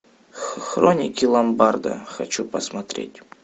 хроники ломбарда хочу посмотреть